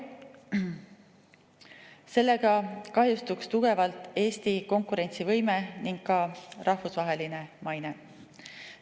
Sellega kahjustuks tugevalt Eesti konkurentsivõime ning ka rahvusvaheline maine.